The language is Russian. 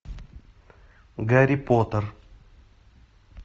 гарри поттер